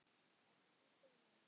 Elsku Steini.